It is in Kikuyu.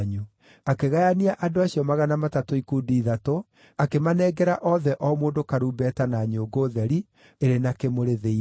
Akĩgayania andũ acio magana matatũ ikundi ithatũ, akĩmanengera othe o mũndũ karumbeta na nyũngũ theri, ĩrĩ na kĩmũrĩ thĩinĩ.